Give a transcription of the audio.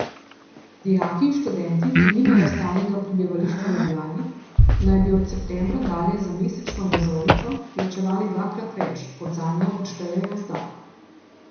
Dijaki in študenti, ki nimajo stalnega prebivališča v Ljubljani, naj bi od septembra dalje za mesečno vozovnico plačevali dvakrat več, kot zanjo odštejejo zdaj.